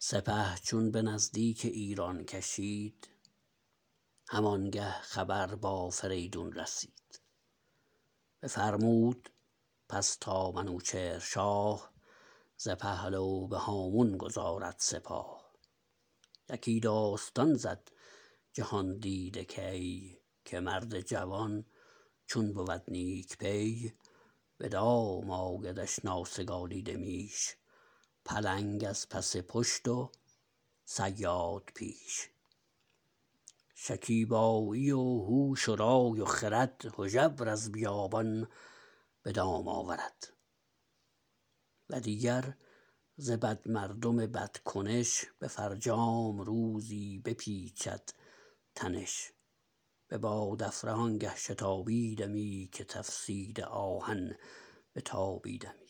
سپه چون به نزدیک ایران کشید همانگه خبر با فریدون رسید بفرمود پس تا منوچهر شاه ز پهلو به هامون گذارد سپاه یکی داستان زد جهاندیده کی که مرد جوان چون بود نیک پی بدام آیدش ناسگالیده میش پلنگ از پس پشت و صیاد پیش شکیبایی و هوش و رای و خرد هژبر از بیابان به دام آورد و دیگر ز بد مردم بد کنش به فرجام روزی بپیچد تنش ببادافره آنگه شتابیدمی که تفسیده آهن بتابیدمی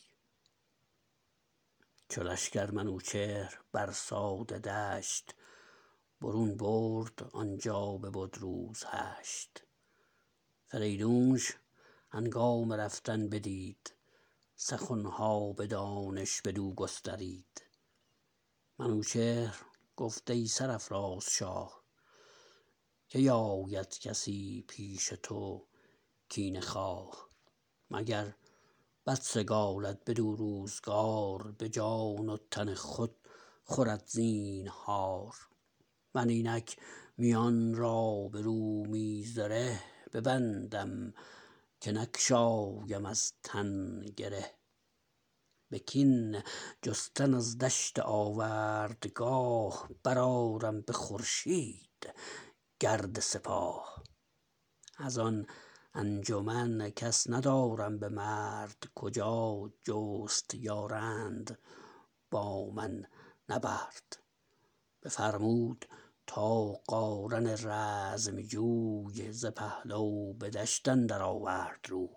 چو لشکر منوچهر بر ساده دشت برون برد آنجا ببد روز هشت فریدونش هنگام رفتن بدید سخنها به دانش بدو گسترید منوچهر گفت ای سرافراز شاه کی آید کسی پیش تو کینه خواه مگر بد سگالد بدو روزگار به جان و تن خود خورد زینهار من اینک میان را به رومی زره ببندم که نگشایم از تن گره به کین جستن از دشت آوردگاه برآرم به خورشید گرد سپاه ازان انجمن کس ندارم به مرد کجا جست یارند با من نبرد بفرمود تا قارن رزم جوی ز پهلو به دشت اندر آورد روی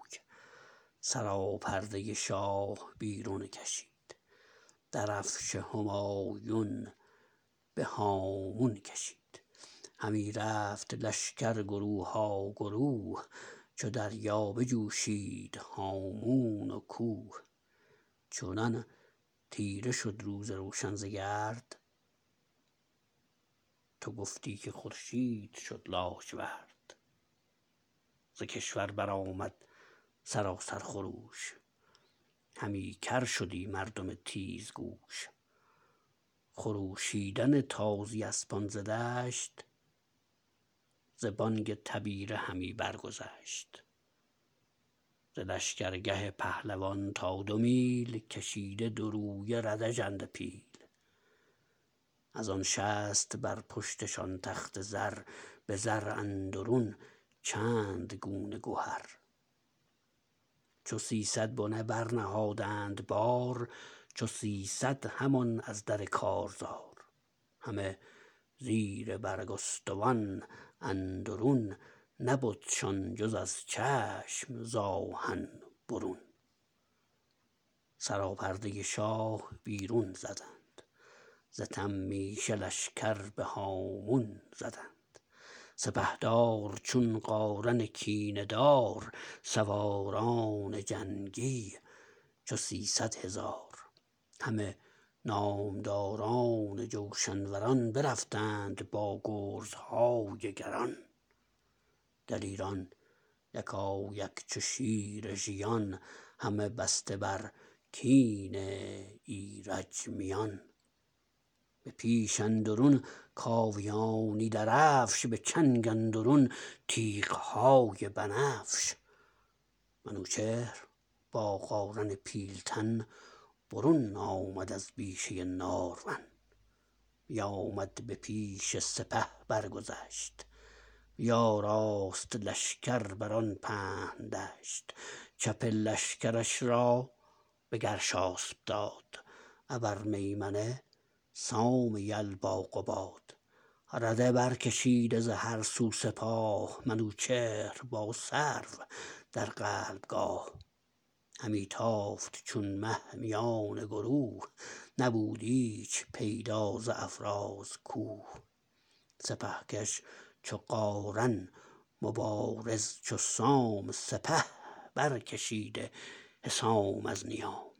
سراپرده شاه بیرون کشید درفش همایون به هامون کشید همی رفت لشکر گروها گروه چو دریا بجوشید هامون و کوه چنان تیره شد روز روشن ز گرد تو گفتی که خورشید شد لاجورد ز کشور برآمد سراسر خروش همی کرشدی مردم تیزگوش خروشیدن تازی اسپان ز دشت ز بانگ تبیره همی برگذشت ز لشگر گه پهلوان تا دو میل کشیده دو رویه رده ژنده پیل ازان شصت بر پشتشان تخت زر به زر اندرون چند گونه گهر چو سیصد بنه برنهادند بار چو سیصد همان از در کارزار همه زیر برگستوان اندرون نبدشان جز از چشم ز آهن برون سراپرده شاه بیرون زدند ز تمیشه لشکر بهامون زدند سپهدار چون قارن کینه دار سواران جنگی چو سیصدهزار همه نامداران جوشن وران برفتند با گرزهای گران دلیران یکایک چو شیر ژیان همه بسته بر کین ایرج میان به پیش اندرون کاویانی درفش به چنگ اندرون تیغهای بنفش منوچهر با قارن پیلتن برون آمد از بیشه نارون بیامد به پیش سپه برگذشت بیاراست لشکر بران پهن دشت چپ لشکرش را بگرشاسپ داد ابر میمنه سام یل با قباد رده بر کشیده ز هر سو سپاه منوچهر با سرو در قلب گاه همی تافت چون مه میان گروه نبود ایچ پیدا ز افراز کوه سپه کش چو قارن مبارز چو سام سپه برکشیده حسام از نیام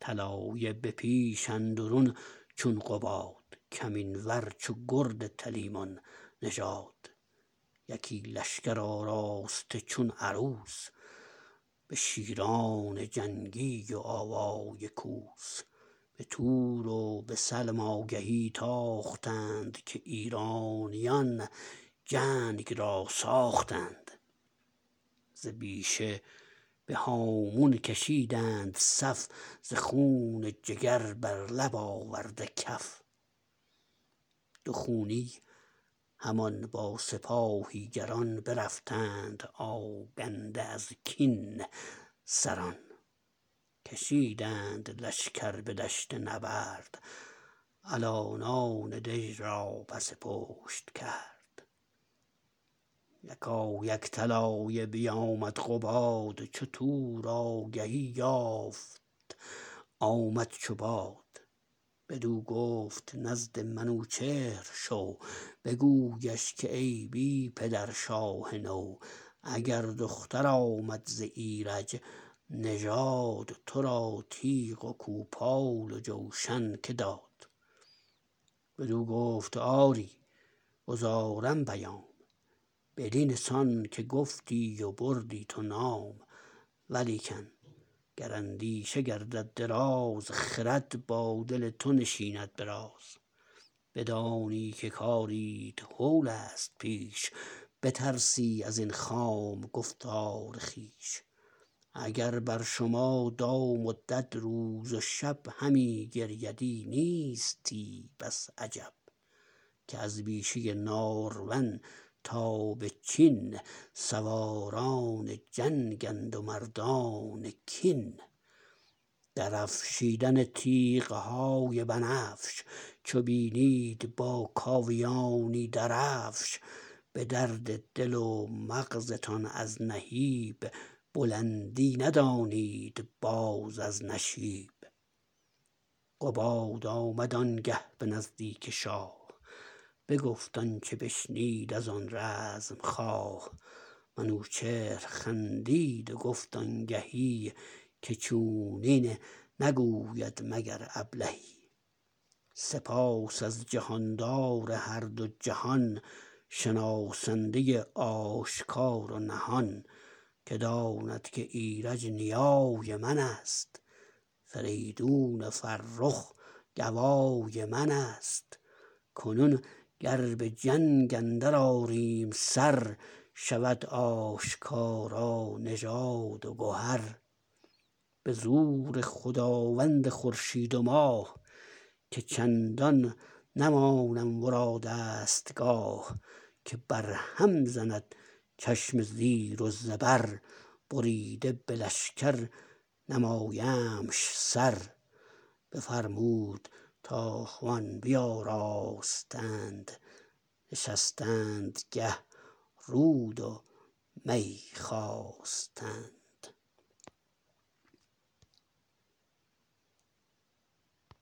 طلایه به پیش اندرون چون قباد کمین ور چو گرد تلیمان نژاد یکی لشکر آراسته چون عروس به شیران جنگی و آوای کوس به تور و به سلم آگهی تاختند که ایرانیان جنگ را ساختند ز بیشه بهامون کشیدند صف ز خون جگر بر لب آورده کف دو خونی همان با سپاهی گران برفتند آگنده از کین سران کشیدند لشکر به دشت نبرد الانان دژ را پس پشت کرد یکایک طلایه بیامد قباد چو تور آگهی یافت آمد چو باد بدو گفت نزد منوچهر شو بگویش که ای بی پدر شاه نو اگر دختر آمد ز ایرج نژاد ترا تیغ و کوپال و جوشن که داد بدو گفت آری گزارم پیام بدین سان که گفتی و بردی تو نام ولیکن گر اندیشه گردد دراز خرد با دل تو نشیند براز بدانی که کاریت هولست پیش بترسی ازین خام گفتار خویش اگر بر شما دام و دد روز و شب همی گریدی نیستی بس عجب که از بیشه نارون تا بچین سواران جنگند و مردان کین درفشیدن تیغهای بنفش چو بینید باکاویانی درفش بدرد دل و مغزتان از نهیب بلندی ندانید باز از نشیب قباد آمد آنگه به نزدیک شاه بگفت آنچه بشنید ازان رزم خواه منوچهر خندید و گفت آنگهی که چونین نگوید مگر ابلهی سپاس از جهاندار هر دو جهان شناسنده آشکار و نهان که داند که ایرج نیای منست فریدون فرخ گوای منست کنون گر بجنگ اندر آریم سر شود آشکارا نژاد و گهر به زور خداوند خورشید و ماه که چندان نمانم ورا دستگاه که بر هم زند چشم زیر و زبر بریده به لشکر نمایمش سر بفرمود تا خوان بیاراستند نشستنگه رود و می خواستند